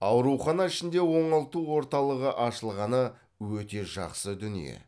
аурухана ішінде оңалту орталығы ашылғаны өте жақсы дүние